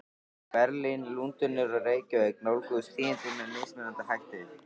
Berlín, Lundúnir og Reykjavík nálguðust tíðindin með mismunandi hætti.